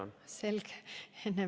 Erki Savisaarel on sünnipäev.